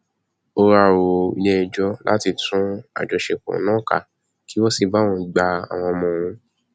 ó wáá rọ iléẹjọ láti tú àjọṣepọ náà ká kí wọn sì bá òun gba àwọn ọmọ òun